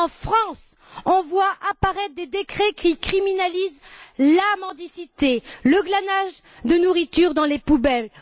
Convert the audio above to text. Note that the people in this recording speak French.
En France, on voit apparaître des décrets qui criminalisent la mendicité, le glanage de nourriture dans les poubelles.